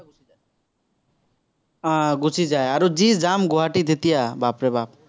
আহ গুচি যায় আৰু যি jam গুৱাহাটীত এতিয়া, বাপৰে বাপ।